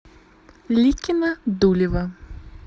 ликино дулево